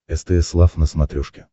стс лав на смотрешке